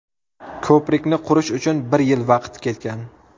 Ko‘prikni qurish uchun bir yil vaqt ketgan.